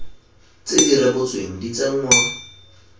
tse di rebotsweng di tsenngwa